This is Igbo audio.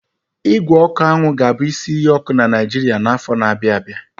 Ígwè ọkụ anwụ ga-abụ isi iyi ọkụ na Naijiria n'afọ na-abịa abịa.